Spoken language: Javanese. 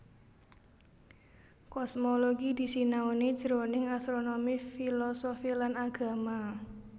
Kosmologi disinaoni jroning astronomi filosofi lan agama